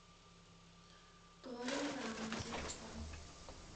тори рамэн телефон